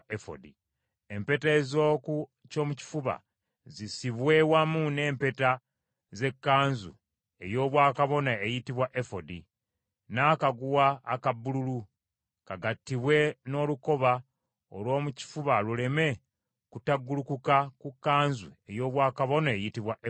Empeta ez’oku kyomukifuba zisibwe wamu n’empeta z’ekkanzu ey’obwakabona eyitibwa efodi n’akaguwa aka bbululu, kagattibwe n’olukoba, olw’omu kifuba luleme kutaggulukuka ku kkanzu ey’obwakabona eyitibwa efodi.